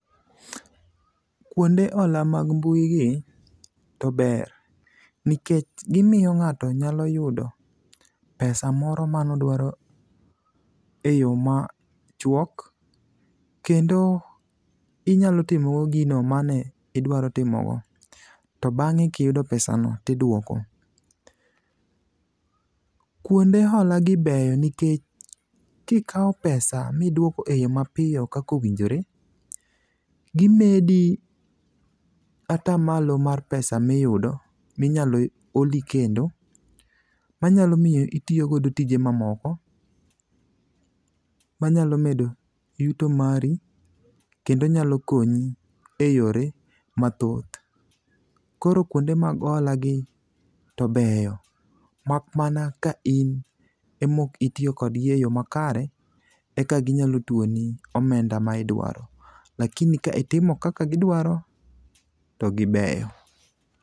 Kwonde hola mag mbuigi to ber, nikech gimiyo ng'ato nyalo yudo pesa moro manodwaro e yo machuok, kendo inyalo timo godo gino manidwaro timogo, to abng'e kiyudo pesano tidwoko. Kwonde holagi beyo nikech kikawo pesa midwoko e yo mapiyo kaka owinjore, gimedi atamalo mar pesa miyudo, minyalo holi kendo, manyalo miyo itiyo godo tije mamoko, manyalo medo yuto mari kendo nyalo konyi e yore mathoth. Koro kwonde mag holagi to beyo, mak mana ka in ema ok itiyo kodgi e yo makare, eka ginyalo tuoni omenda magidwaro. lakini ka itimo kaka gidwaro, to gibeyo.